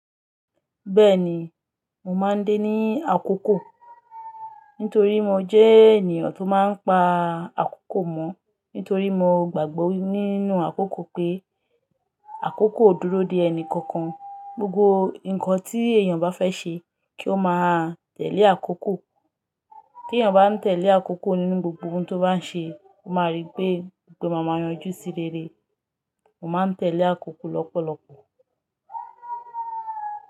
Bẹ́ẹ̀ni, mo máa ń dé ní àkókò, nítorí mo jẹ́ ènìyàn tó máa ń pa àkókò mọ́. Nítorí mo gbàgbọ́ nínú àkókò pé àkókò o dúró dè ẹni kankan. Gbogbo ǹkan tí èèyàn bá fẹ́ ṣe kí ó máa tẹ̀lé àkókò. Kí èèyàn bá ń tẹ̀lé àkókò nínú gbogbo ohun tó bá ń ṣe, ó máa rí pé gbogbo ǹkan máa yanjú sí rere. Mo máa ń tẹ̀lé àkókò lọ́pọ̀lọpọ̀